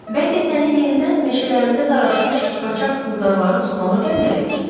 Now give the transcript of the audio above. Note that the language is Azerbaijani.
Bəlkə səni yenidən meşələrimizə daraşmış qaçaq quldarları tutmağa göndərək?